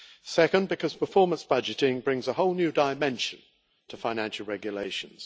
Secondly, because performance budgeting brings a whole new dimension to financial regulations.